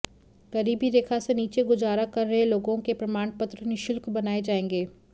गरीबी रेखा से नीचे गुजारा कर रहे लोगों के प्रमाणपत्र निःशुल्क बनाए जाएंगे